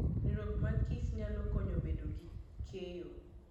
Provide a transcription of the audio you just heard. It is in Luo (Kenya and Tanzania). Riwruok mag kich nyalo konyo bedo gi keyo.